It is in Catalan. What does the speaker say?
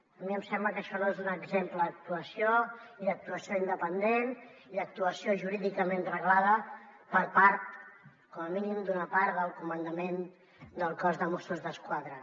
a mi em sembla que això no és un exemple d’actuació i d’actuació independent i d’actuació jurídicament reglada per part com a mínim d’una part del comandament del cos de mossos d’esquadra